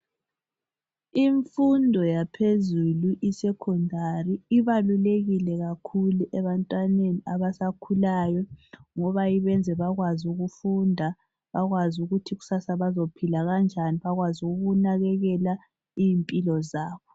Imfundo yaphezulu i 'secondary ' ibalulekile kakhulu ebantwaneni abasakhulayo ngoba ibayenza bakwazi ukufunda, bakwazi ukuthi kusasa bazophila kanjani, bakwazi ukunakekela izimphilo zabo.